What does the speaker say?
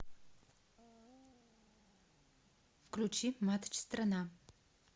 включи матч страна